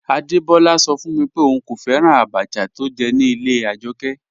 Adebọla sọ fun mi pé óún kò fẹ́ràn àbàchà tó jẹ̀ ní ilẹ̀ Ajọkẹ.